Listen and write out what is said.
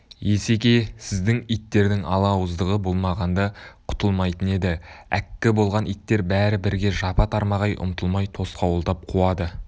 есеке сіздің иттердің ала ауыздығы болмағанда құтылмайтын еді әккі болған иттер бәрі бірге жапа-тармағай ұмтылмай тосқауылдап қуады